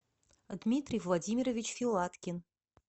дмитрий владимирович филаткин